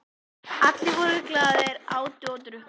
Allir voru glaðir, átu og drukku.